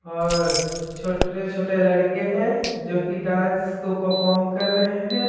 और छोटे-छोटे लड़के हैं जो कि डांस को परफॉर्म कर रहे हैं।